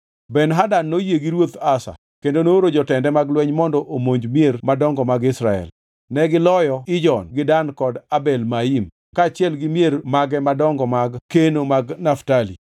Ben-Hadad noyie gi Ruoth Asa kendo nooro jotende mag lweny mondo omonj mier madongo mag Israel. Negiloyo Ijon, gi Dan kod Abel Maim kaachiel gi mier mag madongo mag keno mag Naftali.